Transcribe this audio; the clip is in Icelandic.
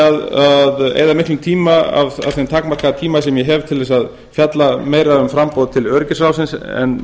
að eyða miklum tíma af þeim takmarkaða tíma sem ég hef til þess að fjalla meira um framboð til öryggisráðsins en